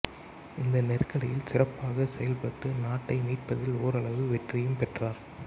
இந்த நெருக்கடியில் சிறப்பாகச் செயல்பட்டு நாட்டை மீட்பதில் ஓரளவு வெற்றியும் பெற்றார்